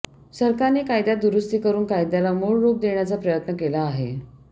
सरकारने कायद्यात दुरुस्ती करून कायद्याला मूळ रूप देण्याचा प्रयत्न केला आहे